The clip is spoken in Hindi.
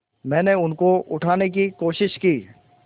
मैंने उनको उठाने की कोशिश की